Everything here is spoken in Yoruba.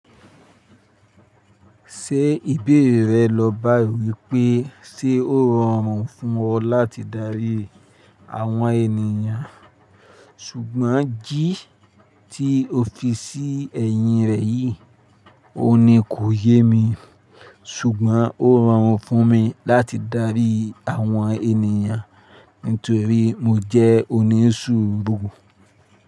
Ṣé ìbéèrè rẹ lọ báyi wípé ṣe ó rọrùn fún ọ láti darí àwọn ènìyàn? Ṣùgbọ́n jí tí o fi sí ẹ̀yìn rẹ yìí, óun ní kò yé mi, ṣùgbọ́n ó rọrùn fún mi láti darí àwọn ènìyàn nítorí mo jẹ́ onísùúrù.